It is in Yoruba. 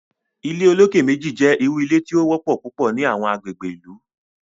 ilé olokè méjì jé ìrù ilé tí o wópò púpọ ní Àwọn agbègbè ìlú